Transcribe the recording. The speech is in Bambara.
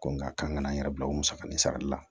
Ko n ka kan n yɛrɛ bila o musaka nin sarali la